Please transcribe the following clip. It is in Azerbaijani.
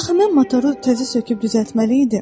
Axı mən motoru təzə söküb düzəltməli idim.